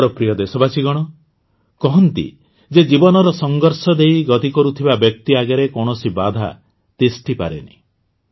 ମୋର ପ୍ରିୟ ଦେଶବାସୀଗଣ କହନ୍ତି ଯେ ଜୀବନର ସଂଘର୍ଷ ଦେଇ ଗତି କରିଥିବା ବ୍ୟକ୍ତି ଆଗରେ କୌଣସି ବାଧା ତିଷ୍ଠି ପାରେନି